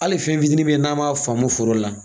Hali fɛnfitin min n'an ma faamu foro la